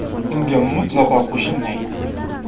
Unga mutlaqo qo‘shilmayman.